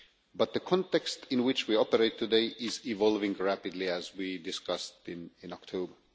But the context in which we operate today is evolving rapidly, as we discussed in October.